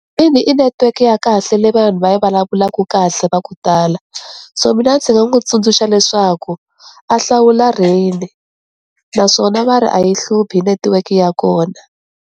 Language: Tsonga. Ina, i netiweke ya kahle leyi vanhu va yi vulavulaku kahle va ku tala, so mina ndzi nga n'wi tsundzuxa leswaku a hlawula rain naswona va ri a yi hluphi netiweke ya kona.